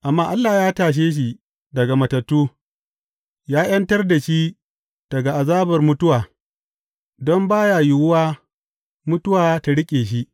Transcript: Amma Allah ya tashe shi daga matattu, ya ’yantar da shi daga azabar mutuwa, don ba ya yiwuwa mutuwa ta riƙe shi.